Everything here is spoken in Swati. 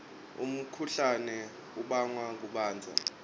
umkhuhlane ubangwa kubandza